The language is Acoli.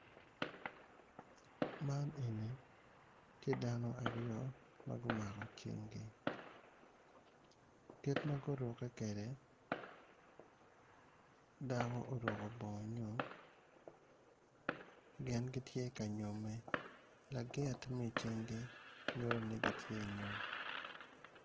Man eni tye dano aryo ma gumako cente kit ma gurukke kwede dako oruko bongo gin gitye ka nyomme lagit ma i cingi